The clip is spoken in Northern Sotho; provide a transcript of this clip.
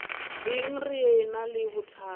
eng re ena le bothata